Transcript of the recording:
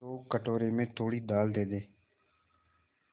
तो कटोरे में थोड़ी दाल दे दे